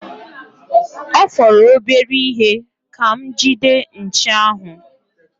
Ọ fọrọ obere ihe ka m gide nchi ahụ.